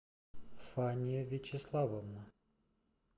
фания вячеславовна